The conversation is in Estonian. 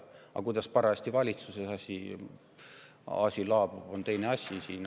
Aga kuidas parajasti valitsuses asi laabub, on teine asi.